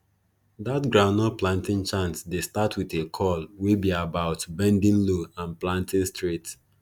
dat groundnut planting chant dey start wit a call wey be about bending low and planting straight